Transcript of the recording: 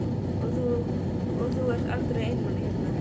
Og þú ert aldrei einmana hérna?